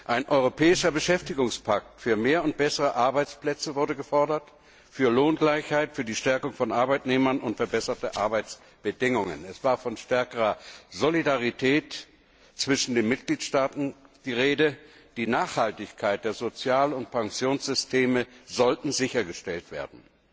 Ein Europäischer Beschäftigungspakt für mehr und bessere Arbeitsplätze, für Lohngleichheit, für die Stärkung von Arbeitnehmern und verbesserte Arbeitsbedingungen wurde gefordert. Es war von stärkerer Solidarität zwischen den Mitgliedstaaten die Rede, die Nachhaltigkeit der Sozial und Pensionssysteme sollte sichergestellt werden.